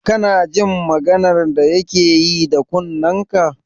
Kana jin maganar da yake yi da kunnenka?